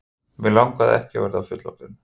Mig langaði ekki að verða fullorðinn.